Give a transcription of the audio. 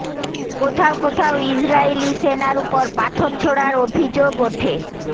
কোথাও কোথাও ইজরায়েলি সেনার উপর পাথর ছোড়ার অভিযোগ ওঠে